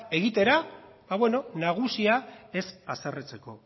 egitera ba nagusia ez haserretzeko